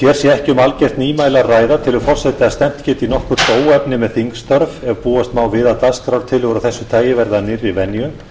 ekki um algjört nýmæli að ræða telur forseti að stefnt geti í nokkurt óefni með þingstörf ef búast má við að dagskrártillögu af þessu tagi verði að nýrri venju